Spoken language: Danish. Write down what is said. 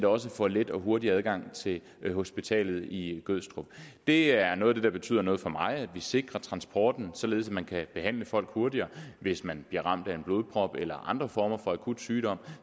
også får let og hurtig adgang til hospitalet i gødstrup det er noget af det der betyder noget for mig det at vi sikrer transporten således at man kan behandle folk hurtigere hvis man bliver ramt af en blodprop eller andre former for akut sygdom